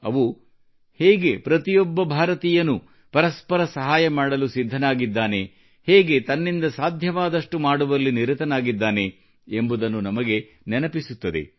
ಅವು ಹೇಗೆ ಪ್ರತಿಯೊಬ್ಬ ಭಾರತೀಯನೂ ಪರಸ್ಪರ ಸಹಾಯ ಮಾಡಲು ಸಿದ್ಧನಾಗಿದ್ದಾನೆ ಹೇಗೆ ತನ್ನಿಂದ ಸಾಧ್ಯವಾದಷ್ಟು ಮಾಡುವಲ್ಲಿ ನಿರತನಾಗಿದ್ದಾನೆ ಎಂಬುದನ್ನು ನಮಗೆ ನೆನಪಿಸುತ್ತದೆ